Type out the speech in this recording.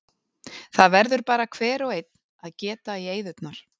Það verður bara hver og einn að geta í eyðurnar.